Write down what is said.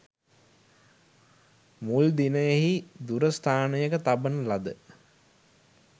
මුල් දිනයෙහි දුර ස්ථානයක තබන ලද